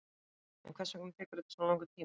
En hvers vegna tekur þetta svona langan tíma?